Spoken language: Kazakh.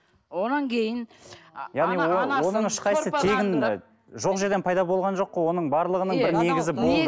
одан кейін оның ешқайсысы тегін жоқ жерден пайда болған жоқ қой оның барлығының бір негізі болды